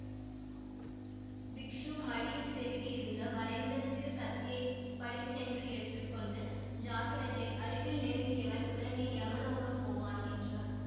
பிக்ஷு மடியில் செருகியிருந்த வளைந்த சிறு கத்தியைப் பளிச்சென்று எடுத்து கொண்டு ஜாக்கிரதை அருகில் நெருங்கியவன் உடனே யமலோகம் போவான் என்றார்